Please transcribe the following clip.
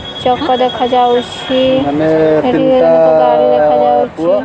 ଚକ ଦେଖା ଯାଉଛି ଏଠି ଅନେକ ଗାଡି ଦେଖାଯାଉଛି।